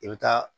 I bɛ taa